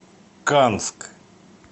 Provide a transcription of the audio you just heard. канск